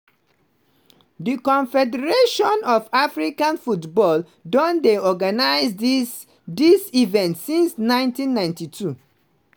di confederation of african football don dey organise dis dis event since 1992.